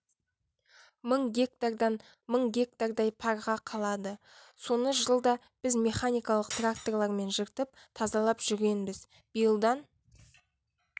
мың гектардан мың гектардай парға қалады соны жылда біз механикалық тракторлармен жыртып тазалап жүргенбіз биылдан